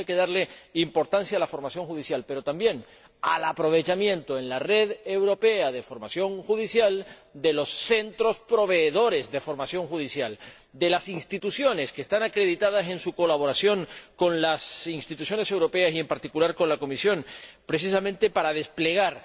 Por eso hay que darle importancia a la formación judicial, pero también al aprovechamiento, en la Red Europea de Formación Judicial, de los centros proveedores de formación judicial, de las instituciones que están acreditadas en su colaboración con las instituciones europeas y, en particular, con la Comisión, precisamente para desplegar